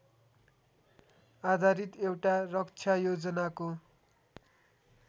आधारित एउट रक्षायोजनाको